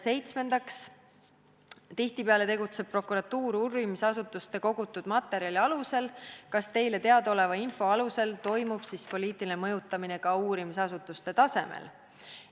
Seitsmendaks: tihtipeale tegutseb prokuratuur uurimisasutuste kogutud materjali alusel, kas teile teadaoleva info alusel toimub poliitiline mõjutamine ka uurimisasutuste tasemel?